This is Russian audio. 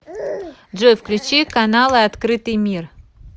джой включи каналы открытый мир